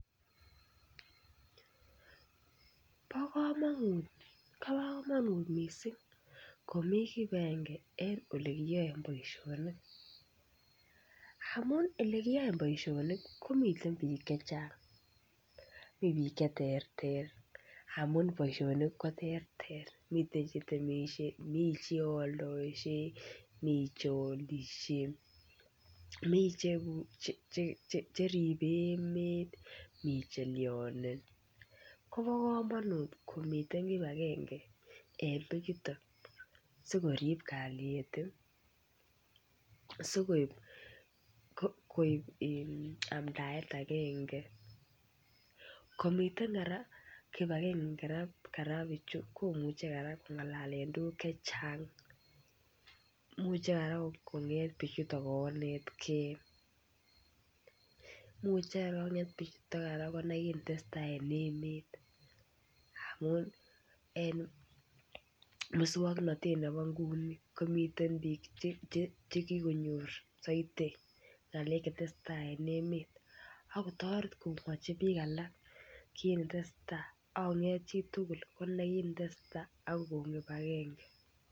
Bo komonut bo komonut missing komii kibagange en elekiyoen boisionik amun elekiyoen boisionik komiten biik chechang mii biik cheterter amun boisionik koterter miten chetemisie mii cheoldoosie mii cheolisie mii cheribe emet mii chelyonen kobo komonut komiten kibagange en bichuton sikorip kalyet ih sikoib amdaet agenge komiten kora kibagange kora bichu komuche kora kongalalen tuguk chechang muche kong'et bichuton konetgee muche kora koker kit netesetai en emet amun en muswongnotet nebo nguni komiten biik chekikonyor soiti ng'alek chetesetaa en emet ako toreti kokochi biik alak kit netesetai akonget chitugul konai kit netesetai ak kokon kibagange